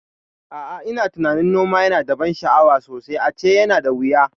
A'a, ina tunanin noma yana da ban sha'awa sosai ace yana da wuya